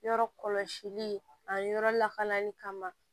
Yɔrɔ kɔlɔsili a yɔrɔ lakanali kama